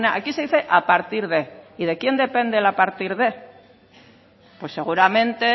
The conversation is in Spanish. aquí se dice a partir de y de quién depende el a partir de pues seguramente